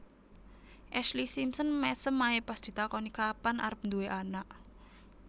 Ashlee Simpson mesem ae pas ditakoni kapan arep duwe anak